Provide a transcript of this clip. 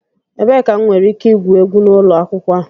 Ebee ka m nwere ike igwu egwu n'ụlọ akwụkwọ a?